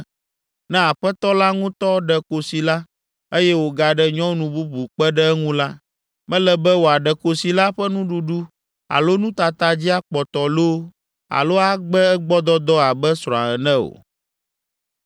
Ne aƒetɔ la ŋutɔ ɖe kosi la, eye wògaɖe nyɔnu bubu kpe ɖe eŋu la, mele be wòaɖe kosi la ƒe nuɖuɖu alo nutata dzi akpɔtɔ loo alo agbe egbɔdɔdɔ abe srɔ̃a ene o.